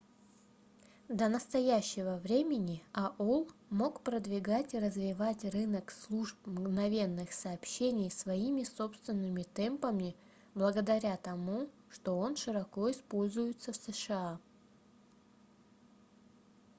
до настоящего времени aol мог продвигать и развивать рынок служб мгновенных сообщений своими собственными темпами благодаря тому что он широко используется в сша